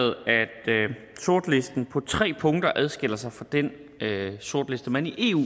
sortlisten på tre punkter skal adskille sig fra den sortliste man i eu